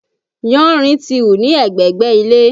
Yánrin ti hù ní ẹ̀gbẹ̀gbẹ́ ilé